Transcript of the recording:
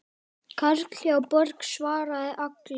Karl hjá Borg svaraði Agli.